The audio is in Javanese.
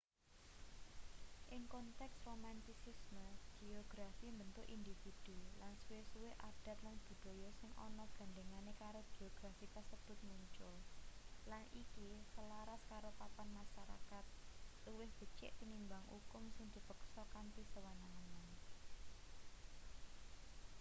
ing konteks romantisisme geografi mbentuk individu lan suwe-suwe adat lan budaya sing ana gandhengane karo geografi kasebut muncul lan iki selaras karo papan masarakat luwih becik tinimbang ukum sing dipeksa kanthi sewenang-wenang